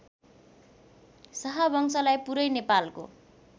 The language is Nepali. शाहवंशलाई पुरै नेपालको